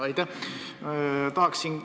Aitäh!